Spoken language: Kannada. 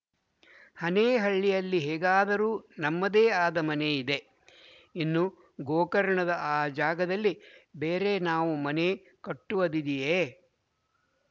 ಹನೇಹಳ್ಳಿಯಲ್ಲಿ ಹೇಗಾದರೂ ನಮ್ಮದೇ ಆದ ಮನೆ ಇದೆ ಇನ್ನು ಗೋಕರ್ಣದ ಆ ಜಾಗದಲ್ಲಿ ಬೇರೆ ನಾವು ಮನೆ ಕಟ್ಟುವದಿದೆಯೇ